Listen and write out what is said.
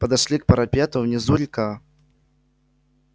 подошли к парапету внизу река